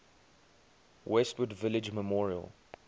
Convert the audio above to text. westwood village memorial